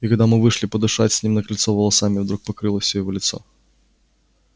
и когда мы вышли подышать с ним на крыльцо волосами вдруг покрылось всё его лицо